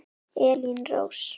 Elín Rós.